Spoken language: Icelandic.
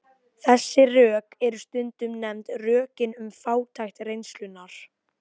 Þessi rök eru stundum nefnd rökin um fátækt reynslunnar.